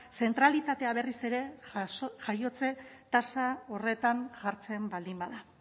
zentralitatea berriz ere jaiotze tasa horretan jartzen baldin bada